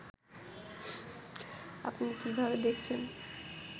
আপনি কিভাবে দেখছেন